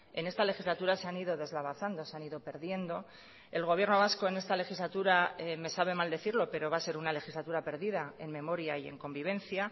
en esta legislatura se han ido deslavazando se han ido perdiendo el gobierno vasco en esta legislatura me sabe mal decirlo pero va a ser una legislatura perdida en memoria y en convivencia